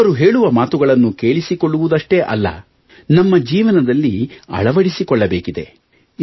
ಇವರು ಹೇಳುವ ಮಾತುಗಳನ್ನು ಕೇಳಿಸಿಕೊಳ್ಳುವುದ್ಷ್ಟೇ ಅಲ್ಲ ನಮ್ಮ ಜೀವನದಲ್ಲಿ ಅಳವಡಿಸಿಕೊಳ್ಳಬೇಕಿದೆ